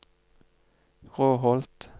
Råholt